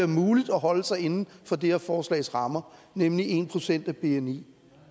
muligt at holde sig inden for det her forslags rammer nemlig en procent af bni